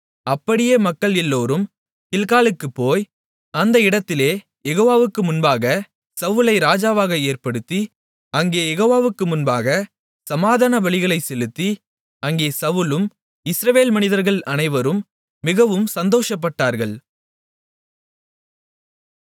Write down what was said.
அப்படியே மக்கள் எல்லோரும் கில்காலுக்குப் போய் அந்த இடத்திலே யெகோவாவுக்கு முன்பாக சவுலை ராஜாவாக ஏற்படுத்தி அங்கே யெகோவாவுக்கு முன்பாக சமாதானபலிகளைச் செலுத்தி அங்கே சவுலும் இஸ்ரவேல் மனிதர்கள் அனைவரும் மிகவும் சந்தோஷப்பட்டார்கள்